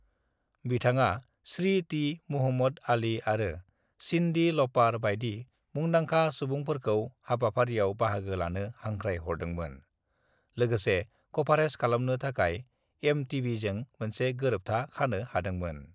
"बिथाङा श्री टी. मुहम्मद आली आरो सिन्डी लपार बायदि मुदांखा सुबुंफोरखौ हाबाफारियाव बाहागो लानो हांख्राय हरदोंमोन, लोगोसे कभारेज खालामनो थाखाय एमटीवीजों मोनसे गोरोबथा खानो हादोंमोन।"